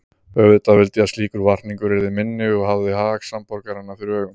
Auðvitað vildi ég að slíkur varningur yrði minni og hafði hag samborgaranna fyrir augum.